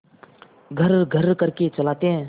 घर्रघर्र करके चलाते हैं